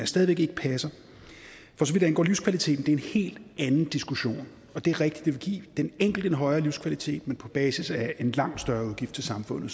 stadig væk ikke passer for så vidt angår livskvaliteten er det en helt anden diskussion det er rigtigt at give den enkelte en højere livskvalitet men på basis af en langt større udgift for samfundet